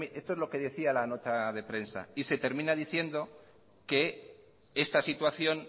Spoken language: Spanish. esto es lo que decía la nota de prensa y se termina diciendo que esta situación